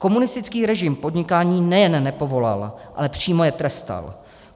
Komunistický režim podnikání nejen nepovoloval, ale přímo je trestal.